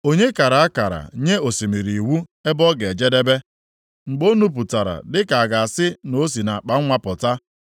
“Onye kara akara nye osimiri iwu ebe ọ ga-ejedebe + 38:8 \+xt Abụ 33:7; Abụ 104:9; Ilu 8:29; Jer 5:22\+xt* mgbe o nupụtara dịka a ga-asị na o si nʼakpanwa pụta,